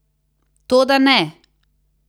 Toda ne!